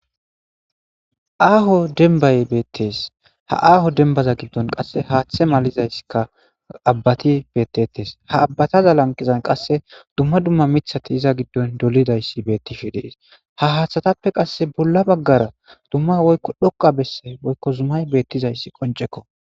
Aaho denbay beettees ha aaho denbaza giddon qasse haaththe malizaysska abbati bettetees ha abbataza lanqizan qasse dumma dumma mithati iza giddon dolidayssi bettishe dees ha haaththatappe qasse bolla baggara dumma woykko dhoqa besse woykko zumay beettizayssi qoncekko.